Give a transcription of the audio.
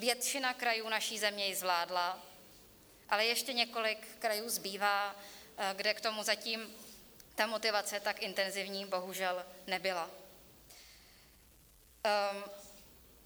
Většina krajů naší země ji zvládla, ale ještě několik krajů zbývá, kde k tomu zatím ta motivace tak intenzivní bohužel nebyla.